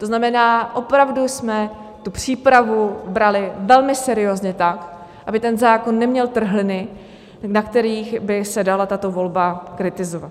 To znamená, opravdu jsme tu přípravu brali velmi seriózně tak, aby ten zákon neměl trhliny, na kterých by se dala tato volba kritizovat.